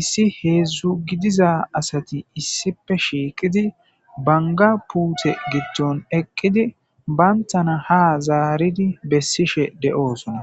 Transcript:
issi heedzdzu gidiza asati issipe shiiqidi banga puute gitton eqqidi bayntana ha zaaridi bessishe de'oosona.